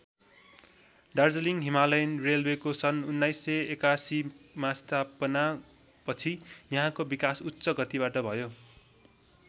Darjeeling Himalayan रेल्वेको सन १८८१ मा स्थापना पछि यहाँको विकास उच्च गतिबाट भयो।